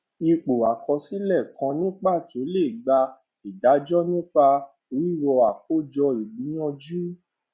ipò àkọsílẹ kan ní pàtó lè gbà ìdájọ nípa wíwo àkójọ ìgbìyànjú